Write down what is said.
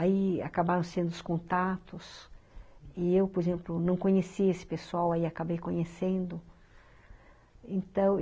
Aí acabaram sendo os contatos, e eu, por exemplo, não conhecia esse pessoal, aí acabei conhecendo.